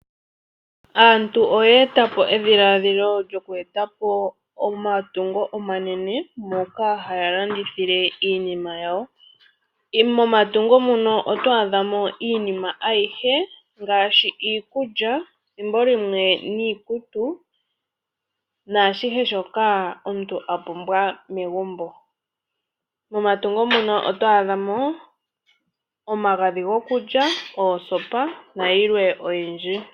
Aantu oya etapo edhiladhilo lyoku etapo omatungo omanene moka haya landithile iinima yawo . Momatungo muno oto adhamo iinima ayihe ngaashi iikulya , ethimbo limwe iikutu naashihe shoka omuntu a pumbwa megumbo. Momatungo muno oto a dhamo omagadhi gokulya , oosopa nayilwe oyindji .